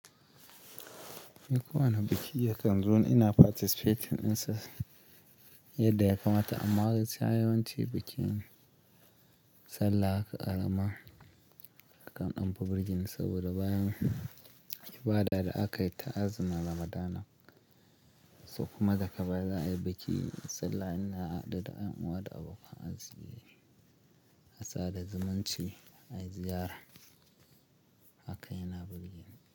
Ni kowane biki ya kan zone participating ɗinsa yadda ya kamata amma har sai yawanci bikin sallah haka ƙara ma, akan ɗanfi birgeni saboda bayan ibada da aka yi ta azumin ramadana. So kuma da ka bayaza ayi bikin sallah ina haɗe da 'ƴan uwa da abokan arziki, a sa da zumunci ayi ziyara haka yana birgeni.